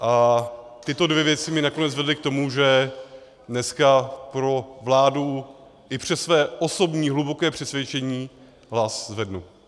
A tyto dvě věci mě nakonec vedly k tomu, že dneska pro vládu i přes své osobní hluboké přesvědčení hlas zvednu.